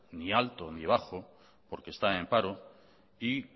ni alto ni bajo porque están en paro y